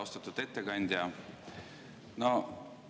Austatud ettekandja!